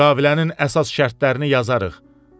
Müqavilənin əsas şərtlərini yazarıq.